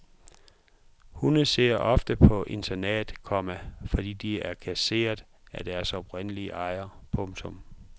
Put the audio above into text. Hunde sidder ofte på internat, komma fordi de er kasseret af deres oprindelige ejere. punktum